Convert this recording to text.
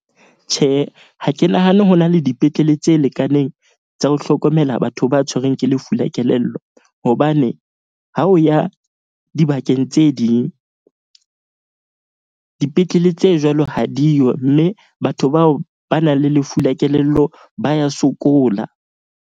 Tjhe, ha ke nahane ho na le dipetlele tse lekaneng tsa ho hlokomela batho ba tshwerweng ke lefu la kelello. Hobane ha o ya dibakeng tse ding, dipetlele tse jwalo ha diyo. Mme batho bao ba nang le lefu la kelello ba ya sokola.